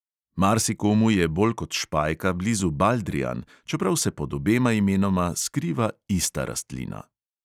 Marsikomu je bolj kot špajka blizu baldrijan, čeprav se pod obema imenoma skriva ista rastlina.